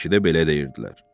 Bakıda belə deyirdilər.